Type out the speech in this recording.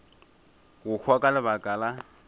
go hwa ka lebaka la